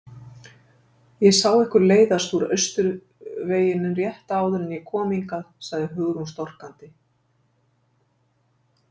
Ég sá ykkur leiðast út Austurveginn rétt áður en ég kom hingað- sagði Hugrún storkandi.